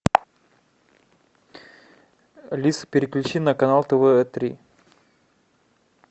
алиса переключи на канал тв три